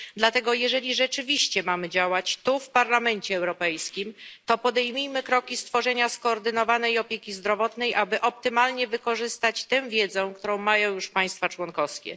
Dlatego jeżeli rzeczywiście mamy działać tu, w Parlamencie Europejskim, to podejmijmy kroki w kierunku stworzenia skoordynowanej opieki zdrowotnej, aby optymalnie wykorzystać wiedzę, którą mają już państwa członkowskie.